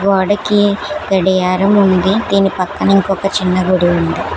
గోడకి గడియారం ఉంది దీని పక్కన ఇంకొక చిన్న గుడి ఉంది.